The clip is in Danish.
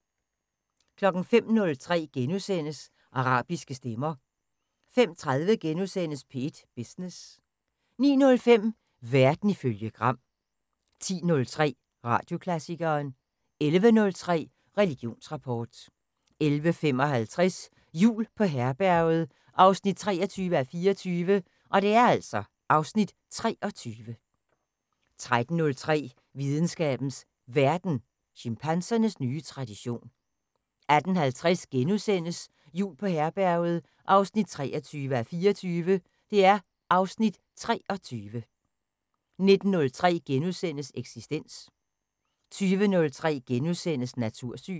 05:03: Arabiske stemmer * 05:30: P1 Business * 09:05: Verden ifølge Gram 10:03: Radioklassikeren 11:03: Religionsrapport 11:55: Jul på Herberget 23:24 (Afs. 23) 13:03: Videnskabens Verden: Chimpansernes nye tradition 18:50: Jul på Herberget 23:24 (Afs. 23)* 19:03: Eksistens * 20:03: Natursyn *